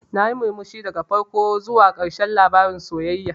Nayi murmushi daga farko zuwa ƙarshen labarin sayayyar.